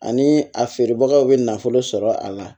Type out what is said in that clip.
Ani a feerebagaw bɛ nafolo sɔrɔ a la